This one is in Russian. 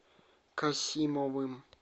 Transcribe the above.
касимовым